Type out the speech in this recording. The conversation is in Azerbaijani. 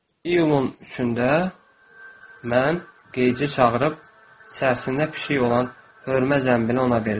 İyulun üçündə mən Qeyci çağırıb səbəsində pişik olan hörmə zənbili ona verdim.